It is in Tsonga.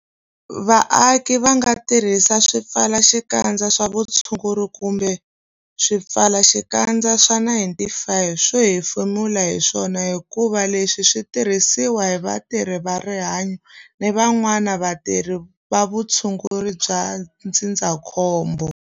Vaaki va nga tirhisi swipfalaxikandza swa vutshunguri kumbe swipfalaxikandza swa 95 swo hefemula hi swona hikuva leswi swi tirhisiwa hi vatirhi va rihanyo na van'wana vatirhi va vutshunguri bya ndzindzakhombo.